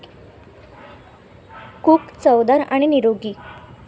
Cook चवदार आणि निरोगी!